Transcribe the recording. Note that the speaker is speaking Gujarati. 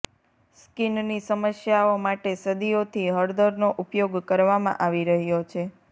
સ્કિનની સમસ્યાઓ માટે સદીઓથી હળદરનો ઉપયોગ કરવામાં આવી રહ્યો છે